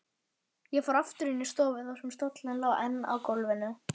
Ég fór aftur inn í stofu þar sem stóllinn lá enn á gólfinu.